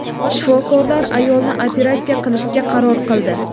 Shifokorlar ayolni operatsiya qilishga qaror qildi.